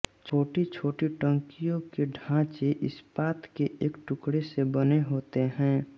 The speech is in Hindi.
छोटी छोटी टंकियों के ढाँचे इस्पात के एक टुकड़े से बने होते हैं